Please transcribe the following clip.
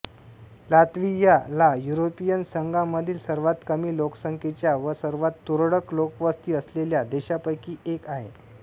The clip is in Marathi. लात्व्हिया ला युरोपियन संघामधील सर्वात कमी लोकसंख्येच्या व सर्वात तुरळक लोकवस्ती असलेल्या देशांपैकी एक आहे